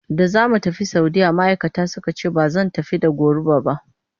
Da za mu tafi Saudiyya ma'aikata suka ce ba zan tafi da goro ba.